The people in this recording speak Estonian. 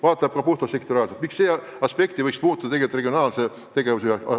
Sealgi lähenetakse probleemidele puhtalt sektoriaalselt, aga võiks läheneda ka regionaalse tegevuse aspektist.